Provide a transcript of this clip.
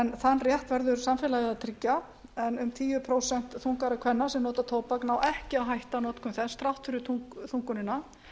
en þann réttur verður samfélagið að tryggja en um tíu prósent þungaðra kvenna sem nota tóbak ná ekki að hætta notkun þess þrátt fyrir þungunina